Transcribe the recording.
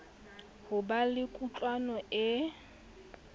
ho ba le kutlwano e